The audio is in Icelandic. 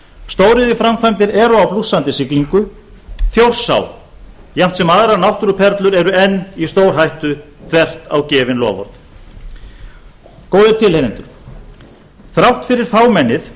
stóriðjuframkvæmdir eru á blússandi siglingu þjórsá jafnt sem aðrar náttúruperlur eru enn í stórhættu þvert á gefin loforð góðir tilheyrendur þrátt fyrir fámennið